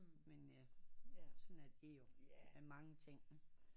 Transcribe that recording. Men ja sådan er det jo med mange ting